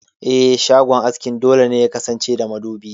Eh, shagon askin dole ne yakasance da madubi.